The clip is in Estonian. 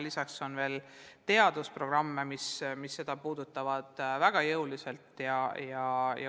Lisaks on veel teadusprogramme, mis seda teemat väga jõuliselt puudutavad.